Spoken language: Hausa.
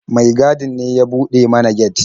Mai gadin ne ya buɗe mana get.